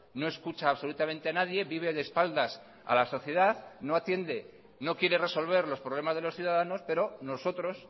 no escucha absolutamente a nadie vive de espaldas a la sociedad no atiende no quiere resolver los problemas de los ciudadanos pero nosotros